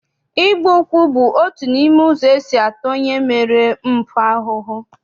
Ịgba ụkwụ bụ otu n'ime ụzọ esi ata onye mere mpụ ahụhụ.